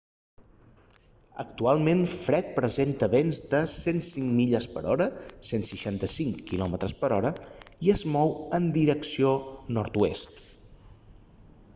actualment fred presenta vents de 105 milles per hora 165 km/h i es mou en direcció nord-oest